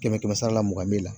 Kɛmɛ-kɛmɛ sara la mugan b'e la